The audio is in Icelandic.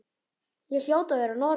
Ég hljóti að vera norn.